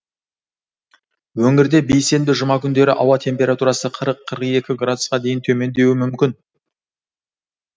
өңірде бейсенбі жұма күндері ауа температурасы қырық қырық екі градусқа дейін төмендеуі мүмкін